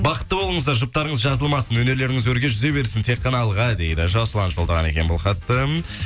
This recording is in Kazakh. бақытты болыңыздар жұптарыңыз жазылмасын өнерлеріңіз өрге жүзе берсін тек қана алға дейді жасұлан жолдаған екен бұл хатты